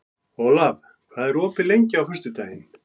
Olav, hvað er opið lengi á föstudaginn?